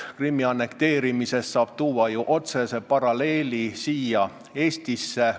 Krimmi annekteerimise põhjal saab tõmmata ju otsese paralleeli siia Eestisse.